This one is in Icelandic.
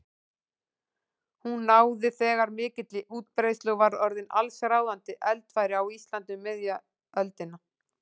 Hún náði þegar mikilli útbreiðslu og var orðin allsráðandi eldfæri á Íslandi um miðja öldina.